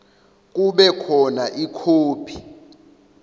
kube khona ikhophi